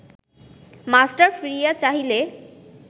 master ফিরিয়া চাহিলে